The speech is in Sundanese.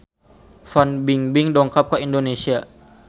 Fan Bingbing dongkap ka Indonesia